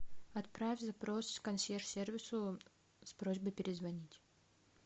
отправь запрос консьерж сервису с просьбой перезвонить